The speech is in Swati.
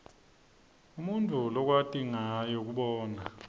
inble umutfu lwkwat nyayo kubona